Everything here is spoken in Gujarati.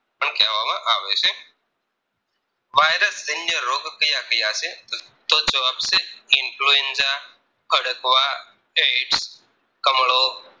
virus જન્ય રોગ ક્યાં ક્યાં છે તો જવાબ છે Influenza ખડકવા Aids કમળો